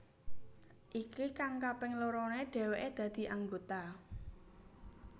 Iki kang kaping lorone dheweke dadi anggota